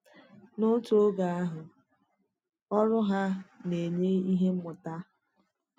N’òtù oge àhụ, ọrụ hà na-enye ihe mmụta.